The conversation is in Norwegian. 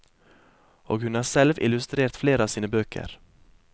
Og hun har selv illustrert flere av sine bøker.